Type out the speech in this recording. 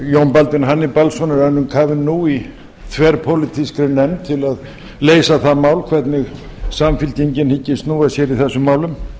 baldvin hannibalsson er önnum kafinn nú í þverpólitískri nefnd til að leysa það mál hvernig samfylkingin hyggist snúa sér í þessum málum